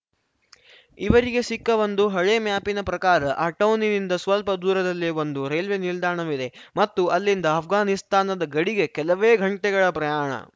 ಇವರಿಗೆ ಸಿಕ್ಕ ಒಂದು ಹಳೆಯ ಮ್ಯಾಪಿನ ಪ್ರಕಾರ ಆ ಟೌನಿನಿಂದ ಸ್ವಲ್ಪ ದೂರದಲ್ಲೇ ಒಂದು ರೈಲ್ವೆ ನಿಲ್ದಾಣವಿದೆ ಮತ್ತು ಅಲ್ಲಿಂದ ಆಷ್ಘಾನಿಸ್ತಾನದ ಗಡಿಗೆ ಕೆಲವೇ ಘಂಟೆಗಳ ಪ್ರಯಾಣ